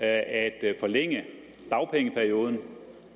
at forlænge dagpengeperioden